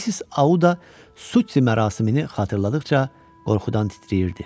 Mis Auda Sutti mərasimini xatırladıqca qorxudan titrəyirdi.